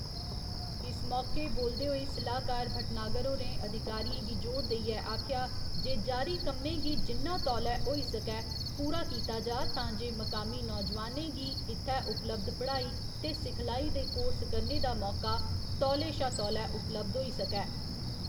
इस मौके बोलदे होई सलाह्‌कार भटनागर होरें अधिकारिएं गी जोर देइयै आखेआ जे जारी कम्में गी जिन्ना तौले होई सकै पूरा कीता जा तां जे मकामी नौजोआनें गी इत्थै उपलब्ध पढ़ाई ते सिखलाई दे कोर्स करने दा मौके तौले शा तौले उपलब्ध होई सकै।